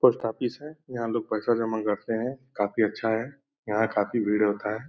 Post office है। यहाँ लोग पैसा जमा करते हैं। काफी अच्छा है। यहाँ काफी भीड़ होता है।